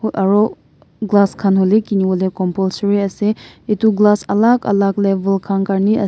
Aru glass khan hole kinibole compulsory ase etu glass alak alak kam karone.